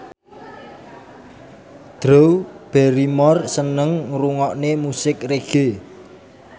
Drew Barrymore seneng ngrungokne musik reggae